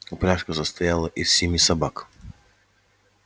упряжка состояла из семи собак